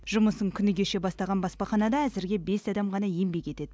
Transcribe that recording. жұмысын күні кеше бастаған баспаханада әзірге бес адам ғана еңбек етеді